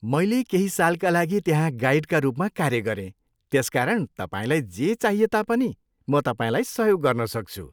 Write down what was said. मैले केही सालका लागि त्यहाँ गाइडका रूपमा कार्य गरेँ त्यसकारण तपाईँलाई जे चाहिए तापनि म तपाईँलाई सहयोग गर्नसक्छु।